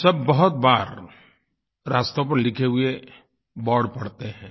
हम सब बहुत बार रास्तों पर लिखे हुए बोर्ड पढ़ते हैं